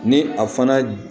Ni a fana